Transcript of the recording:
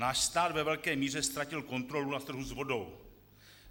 Náš stát ve velké míře ztratil kontrolu na trhu s vodou.